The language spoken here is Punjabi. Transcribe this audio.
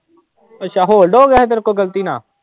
ਅੱਛਾ hold ਹੋ ਗਿਆ ਸੀ ਤੇਰੇ ਕੋਲ ਗ਼ਲਤੀ ਨਾਲ?